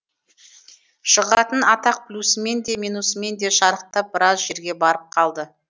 шығатын атақ плюсімен де минусымен де шарықтап біраз жерге барып қалды